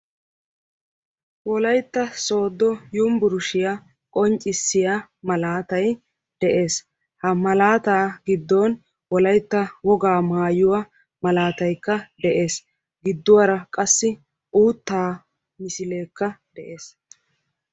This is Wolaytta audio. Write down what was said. wolaytta sodo uniburushiya qonccisya malattay de"eessi ha mallatta giduwani wolaytta woga maayuwa qonccisiya misilekka de"eesi giduwara qassi uutta misilekka de"eessi.